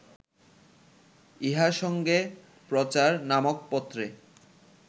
ইহার সঙ্গে প্রচার নামক পত্রে